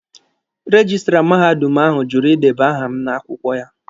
Rejistra mahadum ahụ jụrụ ideba aha m n'akwụkwọ ha